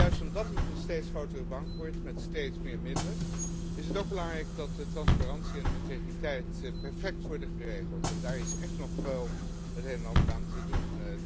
Maar juist omdat het een steeds grotere bank wordt met steeds meer middelen is het ook belangrijk dat de transparantie en integriteit perfect worden geregeld en daar is echt nog wel het een en ander aan te doen.